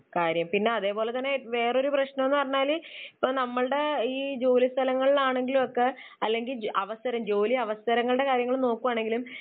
കാര്യം. പിന്നെ അതേപോലെതന്നെ വേറെ ഒരു പ്രശ്നം എന്ന് പറഞ്ഞാൽ ഇപ്പോൾ നമ്മുടെ ഈ ജോലിസ്ഥലങ്ങളിൽ ആണെങ്കിലും ഒക്കെ അല്ലെങ്കിൽ അവസരം, ജോലി അവസരങ്ങളുടെ കാര്യങ്ങൾ നോക്കുകയാണെങ്കിലും